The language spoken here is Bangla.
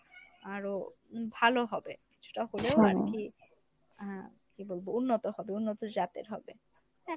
আরো উম ভালো হবে। কিছুটা হলেও আরকি আহ কী বলবো উন্নত হবে উন্নত জাতের হবে। হ্যাঁ